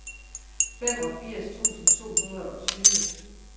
femogfirs tusind to hundrede og tyve